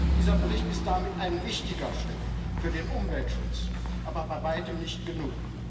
Dieser Bericht ist damit ein wichtiger Schritt für den Umweltschutz, aber bei weitem nicht genug.